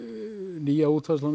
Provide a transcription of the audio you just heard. nýja útfærslan